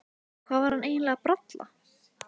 Hvað var hann eiginlega að bralla?